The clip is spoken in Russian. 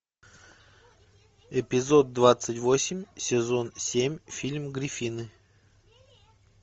эпизод двадцать восемь сезон семь фильм гриффины